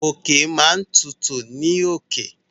Òkè máa n tutù ní òkè.